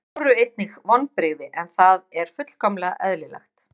Það voru einnig vonbrigði en það er fullkomlega eðlilegt.